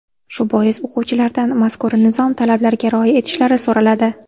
Shu bois o‘quvchilardan mazkur nizom talablariga rioya etishlari so‘raladi.